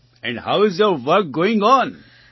and how's your work going on